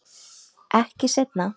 Ekki seinna.